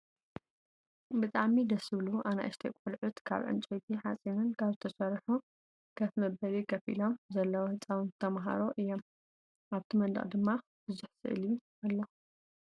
ብጣዕሚ ደስ ዝብሉ ኣናእሽተይ ቆልዑት ካብ ዕንጨይቲን ሓፂንን ካብ ዝተሰርሑ ከፈ መበሉ ከፍ ኢሎም ዘለው ህፃውንቲ ተማህሮ እዮም ።ኣብቲ መንደቅ ድማ ብዙሕ ስኢሊ ኣሎ።